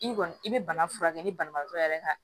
I kɔni i bɛ bana furakɛ ni banabaatɔ yɛrɛ ka